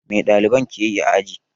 Mai ɗaliban ke yi a aji?